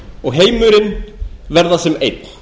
og heimurinn verða sem einn